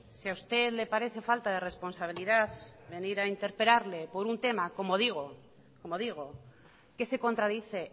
si a usted le parece falta de responsabilidad venir a interpelarle por un tema como digo como digo que se contradice